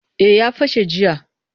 Eh ya fashe jiya